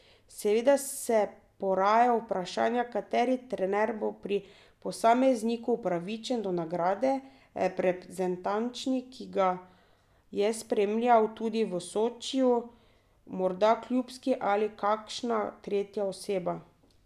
Seveda se poraja vprašanje, kateri trener bo pri posamezniku upravičen do nagrade, reprezentančni, ki ga je spremljal tudi v Sočiju, morda klubski ali kakšna tretja oseba.